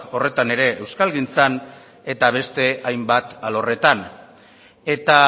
horretan ere euskalgintzan eta beste hainbat alorretan eta